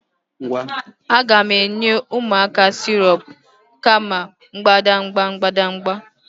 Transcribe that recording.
A ga-enye ụmụaka sirop kama mbadamba mbadamba